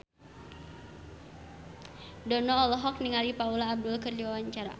Dono olohok ningali Paula Abdul keur diwawancara